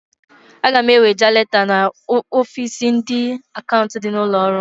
Aga m eweje leta n'ofiisi ndị akaụnt dị n'ụlọọrụ m.